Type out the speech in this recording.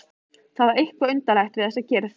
Það var eitthvað undarlegt við þessa kyrrð.